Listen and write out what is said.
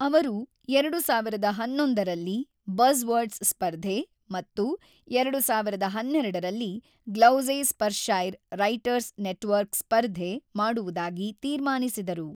ಅವರು ೨೦೧೧ ರಲ್ಲಿ ಬಝ್ವರ್ಡ್ಸ್ ಸ್ಪರ್ಧೆ ಮತ್ತು ೨೦೧೨ರಲ್ಲಿ ಗ್ಲೌಸೆಸ್ಪರ್ಷೈರ್ ರೈಟರ್ಸ್ ನೆಟ್ವರ್ಕ್ ಸ್ಪರ್ಧೆ ಮಾಡುವುದಾಗಿ ತೀರ್ಮಾನಿಸಿದರು.